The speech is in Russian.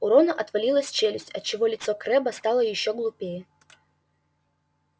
у рона отвалилась челюсть отчего лицо крэбба стало ещё глупее